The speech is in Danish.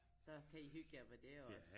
Så kan I hygge jer med det også